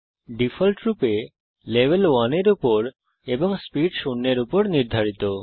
ডিফল্টরূপে লেভেল 1 এর উপর এবং স্পিড শূন্যের উপর নির্ধারিত